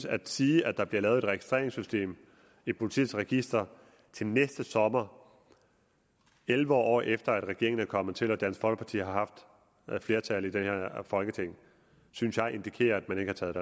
at sige at der bliver lavet et registreringssystem i politiets register til næste sommer elleve år efter at regeringen er kommet til med dansk folkeparti har haft flertal i det her folketing synes jeg indikerer at man ikke har taget